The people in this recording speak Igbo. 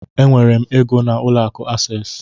Enwere m égo n'ụlọ akụ Access.